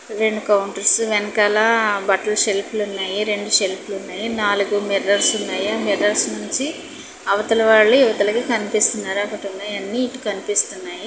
రెండు కౌంటర్స్ వెనకాల బట్టల సెల్ఫ్లు ఉన్నాయి రెండు షెల్ఫులు ఉన్నాయి నాలుగు మిర్రర్స్ ఉన్నాయి ఆ మిర్రర్స్ నుంచి అవతల వాళ్ళు ఇవతలకి కనిపిస్తున్నారు అక్కడ ఉన్నాయని ఇటు కనిపిస్తున్నాయి.